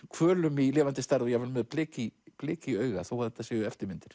hvölum í lifandi stærð og jafnvel með blik í blik í auga þó þetta séu eftirmyndir